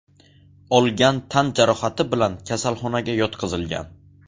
olgan tan jarohati bilan kasalxonaga yotqizilgan.